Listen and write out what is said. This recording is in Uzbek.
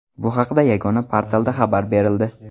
Bu haqda yagona portalda xabar berildi .